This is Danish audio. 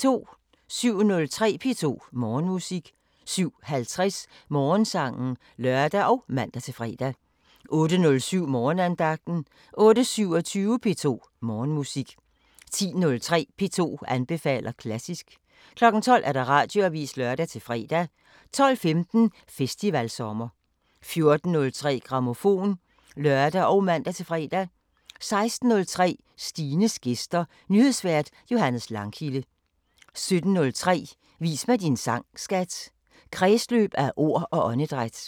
07:03: P2 Morgenmusik 07:50: Morgensangen (lør og man-fre) 08:07: Morgenandagten 08:27: P2 Morgenmusik 10:03: P2 anbefaler klassisk 12:00: Radioavisen (lør-fre) 12:15: Festivalsommer 14:03: Grammofon (lør og man-fre) 16:03: Stines gæster – Nyhedsvært Johannes Langkilde 17:03: Vis mig din sang, skat! – Kredsløb af ord og åndedræt